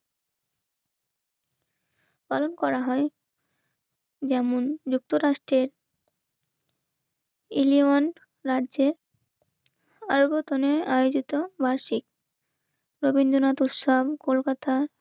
পালন করা হয় যেমন যুক্তরাষ্ট্রের ইলিয়ন রাজ্যে আয়োজিত বার্ষিক রবীন্দ্রনাথ উৎসব কলকাতা